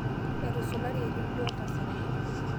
etusulari erendio oltasat